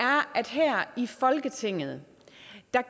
at her i folketinget